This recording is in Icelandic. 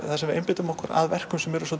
þar sem við einbeitum okkur að verkum sem eru